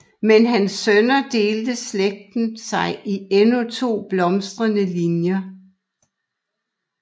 Med hans sønner delte slægten sig i to endnu blomstrende linjer